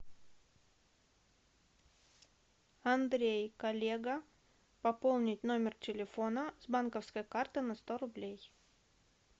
андрей коллега пополнить номер телефона с банковской карты на сто рублей